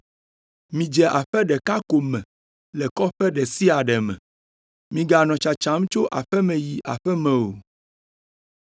Midze aƒe ɖeka ko me le kɔƒe ɖe sia ɖe me; miganɔ tsatsam tso aƒe me yi aƒe me o.